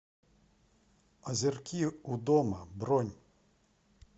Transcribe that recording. озерки у дома бронь